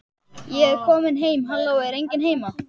Ég er komin heim halló, er enginn heima?